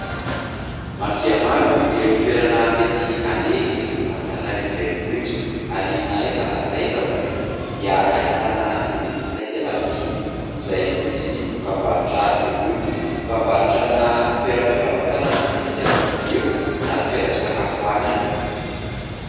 Maro dia maro ireo toerana mety aleha eto Antananarivo renivohitra ary na aiza na aiza moa dia ahitana irony takela-by izay misy dokam-barotra irony, dokam-barotra ana toeram-pivarotana matetika no eo na toeram-pisakafoanana.